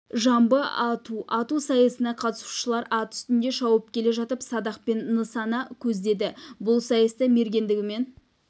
жамбы ату ату сайысына қатысушылар ат үстінде шауып келе жатып садақпен нысана көздеді бұл сайыста мергендігімен